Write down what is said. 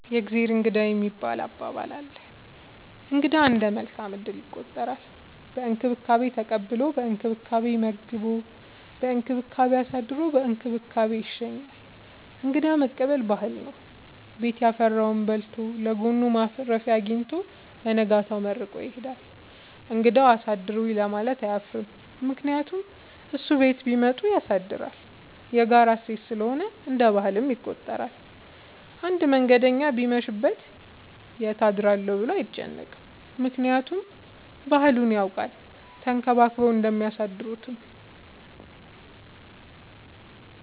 የእግዜር እንግዳ የሚባል አባባል አለ። እንግዳ እንደ መልካም እድል ይቆጠራል። በእንክብካቤ ተቀብሎ በእንክብካቤ መግቦ በእንክብካቤ አሳድሮ በእንክብካቤ ይሸኛል። እንግዳ መቀበል ባህል ነው። ቤት ያፈራውን በልቶ ለጎኑ ማረፊያ አጊኝቶ በነጋታው መርቆ ይሄዳል። እንግዳውም አሳድሩኝ ለማለት አያፍርም ምክንያቱም እሱም ቤት ቢመጡ ያሳድራል። የጋራ እሴት ስለሆነ እንደ ባህል ይቆጠራል። አንድ መንገደኛ ቢመሽ ይት አድራለሁ ብሎ አይጨነቅም። ምክንያቱም ባህሉን ያውቃል ተንከባክበው እንደሚያሳድሩት።